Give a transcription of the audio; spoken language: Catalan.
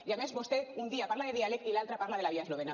i a més vostè un dia parla de diàleg i l’altre parla de la via eslovena